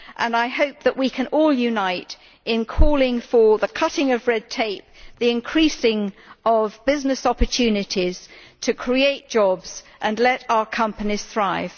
I hope that we can all unite in calling for the cutting of red tape and the increasing of business opportunities to create jobs and let our companies thrive.